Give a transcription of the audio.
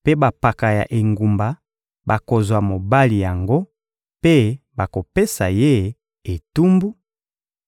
mpe bampaka ya engumba bakozwa mobali yango mpe bakopesa ye etumbu: